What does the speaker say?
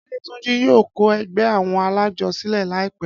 Adétúnjí yóò kọ ẹgbẹ́ àwọn alájọ sílẹ̀ láìpẹ́.